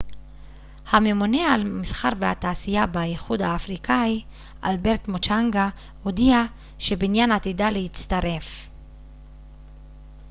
הממונה על המסחר והתעשייה באיחוד האפריקאי אלברט מוצ'נגה הודיע שבנין עתידה להצטרף